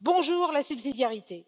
Bonjour la subsidiarité!